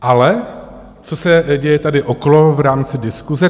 Ale co se děje tady okolo v rámci diskuse?